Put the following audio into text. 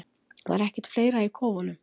Var ekkert fleira í kofunum?